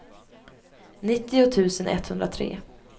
nittio tusen etthundratre